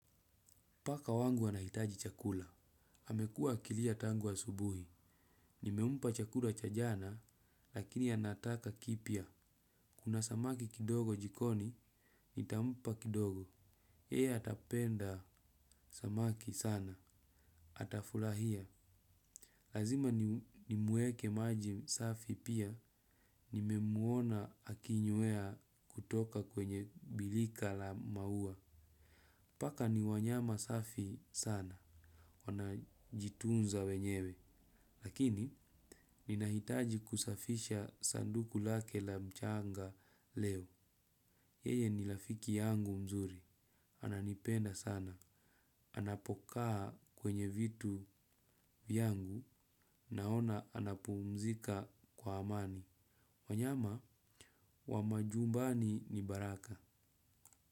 Paka wangu anahitaji chakula. Amekua kilia tangu wa subuhi. Nimempa chakula cha jana, lakini anataka kipya. Kuna samaki kidogo jikoni, nitampa kidogo. Yeye atapenda samaki sana. Atafurahia. Lazima nimwekee maji safi pia. Nimemuona akinywa kutoka kwenye birika la maua. Paka ni wanyama safi sana. Wanajitunza wenyewe lakini, nahitaji kusafisha sanduku lake la mchanga leo. Yeye ni rafiki yangu mzuri. Ananipenda sana. Anapokaa kwenye vitu yangu. Naona anapumzika kwa amani. Wanyama, wa majumbani ni baraka.